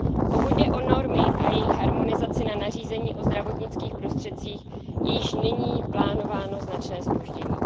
Pokud jde o normy a jejich harmonizaci na nařízení o zdravotnických prostředcích, je již nyní plánováno značné zpoždění.